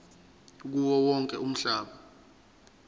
kuwo wonke umhlaba